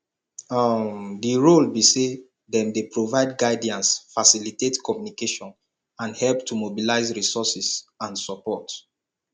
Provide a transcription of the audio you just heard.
um di role be say dem dey provide guidance facilitate communication and help to mobilize resources and support